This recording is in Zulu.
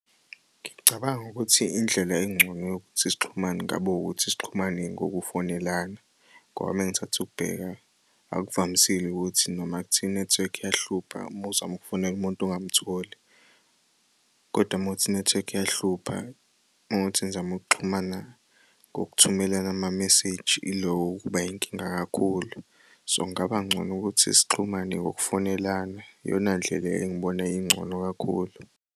Ngicabanga ukuthi indlela engcono yokuthi sixhumane kungaba ukuthi sixhumane ngokufonelana ngoba uma ngithatha ukubheka akuvamisile ukuthi noma kuthiwa inethiwekhi iyahlupha uma uzama ukufonela umuntu ungamtholi, kodwa uma kuwukuthi inethiwekhi iyahlupha. Uma kuwuthi nizama ukuxhumana ngokuthumela ama-message ilokho okuba yinkinga kakhulu. So, kungaba ngcono ukuthi sixhumane ngokufonelana, iyona ndlela engibona ingcono kakhulu.